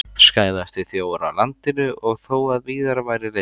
Skæðasti þjófur á landinu og þó að víðar væri leitað!